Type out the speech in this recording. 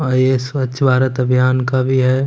अ ये स्वच्छ भारत अभियान का भी है।